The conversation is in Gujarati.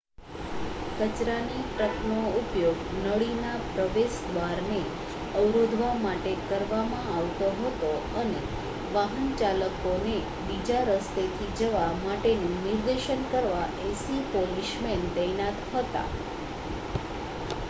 કચરાની ટ્રકનો ઉપયોગ નળીના પ્રવેશદ્વારને અવરોધવા માટે કરવામાં આવતો હતો અને વાહનચાલકોને બીજા રસ્તેથી જવા માટેનું નિર્દેશન કરવા 80 પોલીસમેન તૈનાત હતા